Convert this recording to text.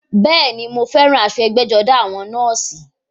Bẹ́ẹ̀ni, mọ fẹ́ràn aṣọ ẹgbẹ́-jọdá àwọn nọ́ọ̀sì.